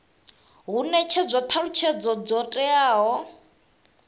hu netshedzwa thalutshedzo dzo teaho